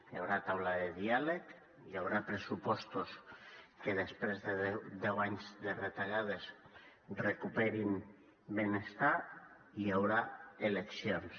hi haurà taula de diàleg hi haurà pressupostos que després de deu anys de retallades recuperin benestar hi haurà eleccions